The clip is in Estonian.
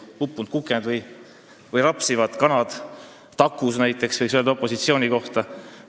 Uppunud kuked või rapsivad kanad takus näiteks võiks öelda opositsiooni kohta.